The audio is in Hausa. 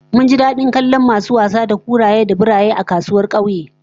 Mun ji dadin kallon masu wasa da kuraye da biroyi a kasuwar kauyen